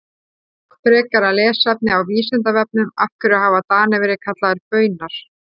Frekara lesefni á Vísindavefnum Af hverju hafa Danir verið kallaðir Baunar?